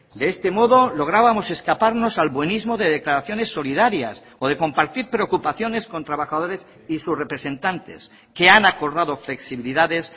de este modo lográbamos escaparnos al buenismo de declaraciones solidarias o de compartir preocupaciones con trabajadores y sus representantes que han acordado flexibilidades